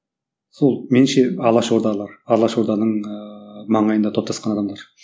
сол меніңше алаш ордалар алаш орданың ыыы маңайында топтасқан адамдар